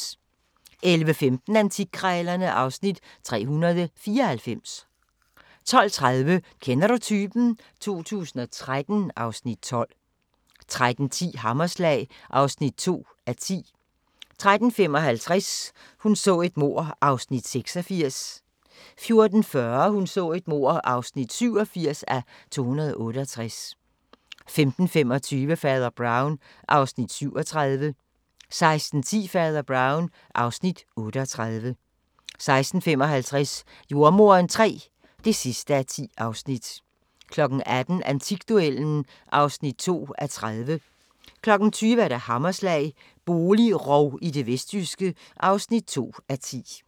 11:15: Antikkrejlerne (Afs. 394) 12:30: Kender du typen? 2013 (Afs. 12) 13:10: Hammerslag (2:10) 13:55: Hun så et mord (86:268) 14:40: Hun så et mord (87:268) 15:25: Fader Brown (Afs. 37) 16:10: Fader Brown (Afs. 38) 16:55: Jordemoderen III (10:10) 18:00: Antikduellen (2:30) 20:00: Hammerslag – boligrov i det vestjyske (2:10)